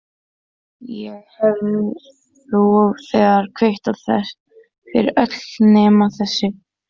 Ég hef nú þegar kvittað fyrir þau öll nema þessi.